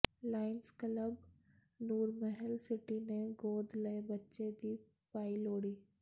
Lions club Nurmahal city ਨੇ ਗੋਦ ਲਏ ਬੱਚੇ ਦੀ ਪਾਈ ਲੋਹੜੀ